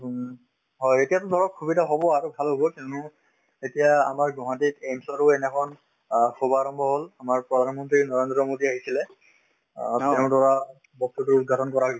হয়, এতিয়াতো ধৰক সুবিধা হব আৰু ভাল হব কিয়নো এতিয়া আমাৰ গুৱাহাটীত AIMS ৰো সেইদিনাখন অ শুভ আৰম্ভ হল আমাৰ প্ৰধানমন্ত্ৰী নৰেন্দ্ৰ মোডী আহিছিলে অ তেওঁ দ্বাৰা বস্তুটোৰ উৎঘাটন কৰা হৈছে